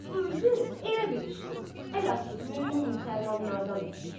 Bu özü elə bir işdir, əlhəq, mömin müsəlmanlardan ötrü.